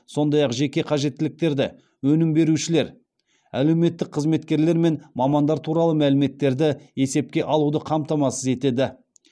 сондай ақ жеке қажеттіліктерді өнім берушілер әлеуметтік қызметкерлер мен мамандар туралы мәліметтерді есепке алуды қамтамасыз етеді